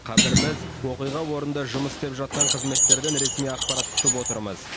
қазір біз оқиға орнында жұмыс істеп жатқан қызметтерден ресми ақпарат күтіп отырмыз